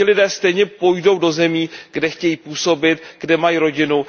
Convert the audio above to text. Ti lidé stejně půjdou do zemí, kde chtějí působit, kde mají rodinu.